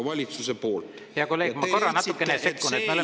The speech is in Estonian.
Hea kolleeg, ma korra natukene sekkun.